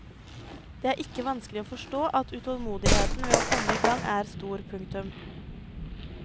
Det er ikke vanskelig å forstå at utålmodigheten ved å komme i gang er stor. punktum